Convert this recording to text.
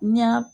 N y'a